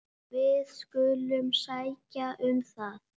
Við skulum sækja um það.